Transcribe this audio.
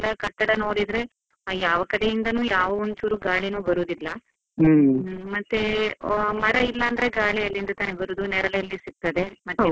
ಎಲ್ಲ ಕಟ್ಟಡ ನೋಡಿದ್ರೆ, ಯಾವ ಕಡೆಯಿಂದಾನೂ ಯಾವ ಯಾವುದು ಒಂಚೂರು ಗಾಳಿನೂ ಬರೋದಿಲ್ಲ ಮತ್ತೇ ಮರ ಇಲ್ಲ ಅಂದ್ರೆ ಗಾಳಿ ಎಲ್ಲಿಂದ ತಾನೇ ಬರುವುದು, ನೆರಳು ಎಲ್ಲಿ ಸಿಗ್ತದೆ? ಮತ್ತೆ.